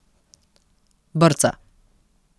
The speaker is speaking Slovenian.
Brca.